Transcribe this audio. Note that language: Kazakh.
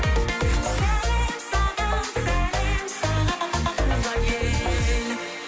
сәлем саған сәлем саған туған ел